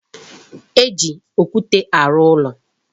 E ji okwute arụ ụlọ.